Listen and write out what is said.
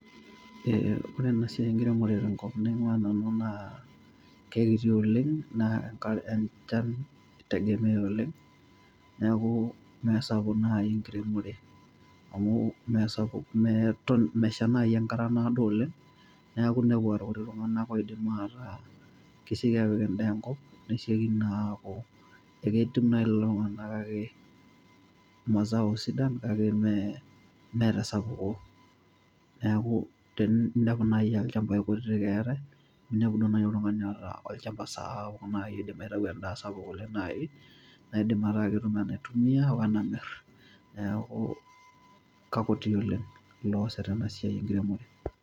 Ore esiai enkiremore tenkop naingua nanu naa kekiti oleng na enchan itegemea oleng neaku mesapuk nai enkiremore amu mesapuk meton nai enkata naado oleng neaku ltunganak oidim ataa kesieki apik endaa enkop nesieki naa aketum nai lolo tunganak mazao sidan kake maa tesapuko neaku teninepu nai aa lchambai kutitik eatae ,ninepu nai oltungani oota lchambai sapukin oidim aitau endaa sapuk oleng metaa ketum enaitumia ashu enamir neaku kakutu Oleng looasita enasia enkiremore.